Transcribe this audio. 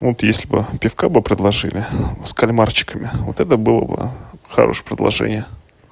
вот если бы пивка бы предложили с кальмарчиками вот это было бы хорошее предложение